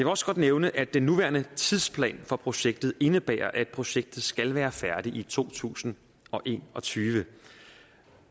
også godt nævne at den nuværende tidsplan for projektet indebærer at projektet skal være færdigt i to tusind og en og tyve